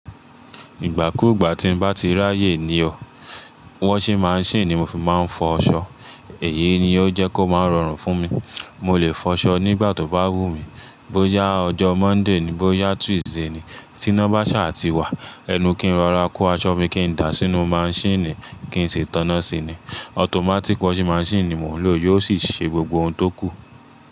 Ìgbà ku gbà tín bá ti ráyè ni o, washing machine ni mo fi máa ń fọ ọṣọ. Èyí ni ó jẹ́ kó máa ń rọrùn fún mi. Mo lè fọṣọ nígbà tó bá wù mí, bóyá ọjọ́ Monday ni, bóyá Tuesday ni. Tinọ́básà ti wà, ẹnu kí n rọra kó aṣọ mi kí n dàá sínú machine kí n sì tọ́nọ́ síi ni. Automatic washing machine ni mò ń lò, yóò sì ṣe gbogbo ohun tókù.